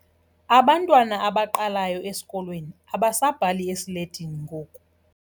Abantwana abaqalayo esikolweni abasabhali esiletini ngoku.